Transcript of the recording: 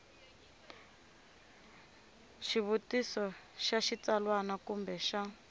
xivutiso xa xitsalwana kumbe xa